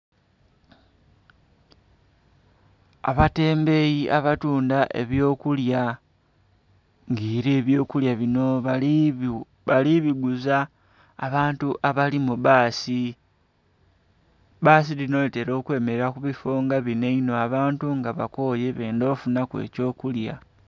Abatembeyi abatunda eby'okulya, ng'ela eby'okulya binho bali biguza abantu abali mu bbaasi. Bbaasi dhino dhitela okwemelera ku bifo binho einho, abantu nga bakooye bendha okufunhaku eky'okulya.